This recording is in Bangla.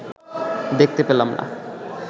দেখতে পেলাম না